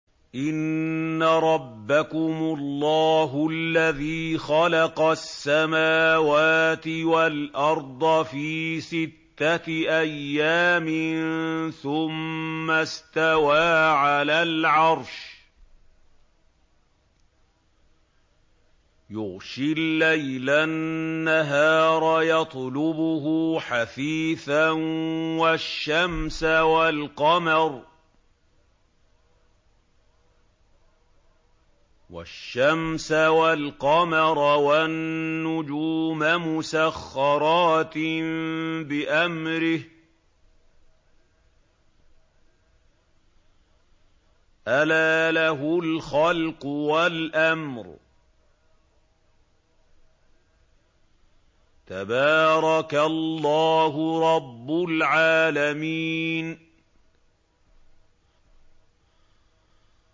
إِنَّ رَبَّكُمُ اللَّهُ الَّذِي خَلَقَ السَّمَاوَاتِ وَالْأَرْضَ فِي سِتَّةِ أَيَّامٍ ثُمَّ اسْتَوَىٰ عَلَى الْعَرْشِ يُغْشِي اللَّيْلَ النَّهَارَ يَطْلُبُهُ حَثِيثًا وَالشَّمْسَ وَالْقَمَرَ وَالنُّجُومَ مُسَخَّرَاتٍ بِأَمْرِهِ ۗ أَلَا لَهُ الْخَلْقُ وَالْأَمْرُ ۗ تَبَارَكَ اللَّهُ رَبُّ الْعَالَمِينَ